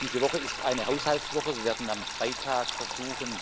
Diese Woche ist eine Haushaltswoche. Wir werden am Freitag versuchen,